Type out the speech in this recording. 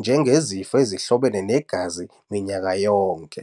njengezinezifo ezihlobene negazi minyaka yonke.